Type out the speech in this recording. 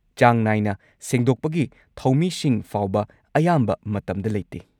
ꯆꯥꯡ ꯅꯥꯏꯅ ꯁꯦꯡꯗꯣꯛꯄꯒꯤ ꯊꯧꯃꯤꯁꯤꯡ ꯐꯥꯎꯕ ꯑꯌꯥꯝꯕ ꯃꯇꯝꯗ ꯂꯩꯇꯦ꯫